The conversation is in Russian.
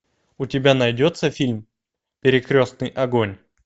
у тебя найдется фильм перекрестный огонь